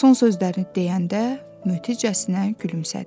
Son sözlərini deyəndə, möhticəsinə gülümsədi.